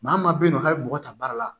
Maa min ma bɛ yen nɔ k'a bɛ mɔgɔ ta baara la